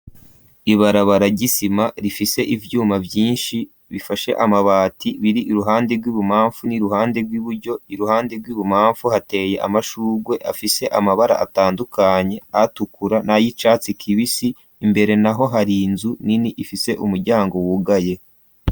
Ibarabara ry'isima rifise ivyuma vyinshi bifashe amabati biri iruhande rw'ibumamfu n'iruhande rw'iburyo iruhande rw'ibumamfu hateye amashugwe afise amabara atandukanye atukura nayicatsi kibisi imbere naho hari inzu nini ifise umuryango wugaye.